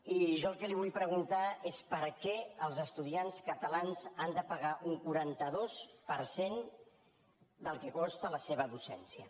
i jo el que li vull preguntar és per què els estudiants catalans han de pagar un quaranta dos per cent del que costa la seva docència